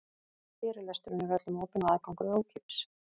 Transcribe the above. Fyrirlesturinn er öllum opinn og aðgangur er ókeypis.